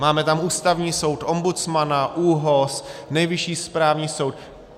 Máme tam Ústavní soud, ombudsmana, ÚOHS, Nejvyšší správní soud.